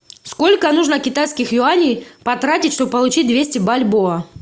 сколько нужно китайских юаней потратить что бы получить двести бальбоа